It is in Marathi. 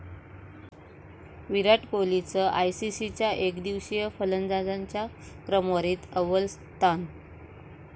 विराट कोहलीचं आयसीसी एकदिवसीय फलंदाजांच्या क्रमवारीत अव्वल स्थान